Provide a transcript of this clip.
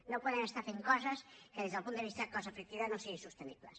no podem estar fent coses que des del punt de vista cost efectivitat no siguin sostenibles